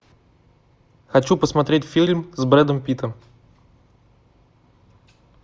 хочу посмотреть фильм с брэдом питтом